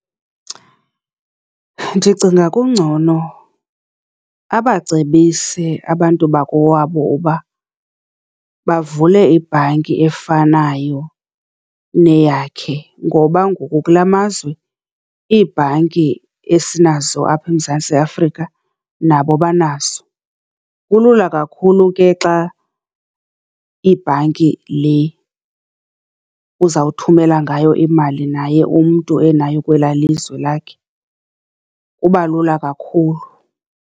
Ndicinga kungcono abacebise abantu bakowabo uba bavule ibhanki efanayo neyakhe ngoba ngoku kulaa mazwe iibhanki esinazo apha eMzantsi Afrika nabo banazo. Kulula kakhulu ke xa ibhanki le uzawuthumela ngayo imali naye umntu enayo kwelaa lizwe lakhe kubalula kakhulu.